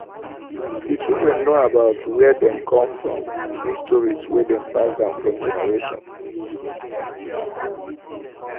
the children know about were dem come from through stories wey dem pass down from generation